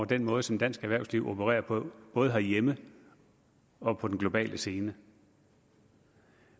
den måde som dansk erhvervsliv opererer på både herhjemme og på den globale scene